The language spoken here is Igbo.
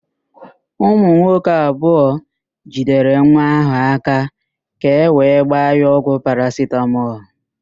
Ụmụ nwoke abụọ jidere nwa ahụ áká ka ewee gbaa ya ọgwụ parasitamọl.